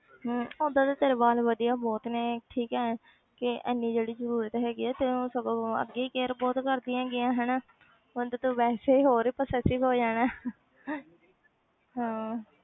ਹਮ ਓਦਾਂ ਤੇ ਤੇਰੇ ਵਾਲ ਵਧੀਆ ਬਹੁਤ ਨੇ ਠੀਕ ਹੈ ਕਿ ਇੰਨੀ ਜਿਹੜੀ ਜ਼ਰੂਰਤ ਹੈਗੀ ਹੈ ਤੂੰ ਸਗੋਂ ਅੱਗੇ care ਬਹੁਤ ਕਰਦੀ ਹੈਗੀ ਹੈ ਹਨਾ ਹੁਣ ਤਾਂ ਤੂੰ ਵੈਸੇ ਹੀ ਹੋਰ possessive ਹੋ ਜਾਣਾ ਹੈ ਹਾਂ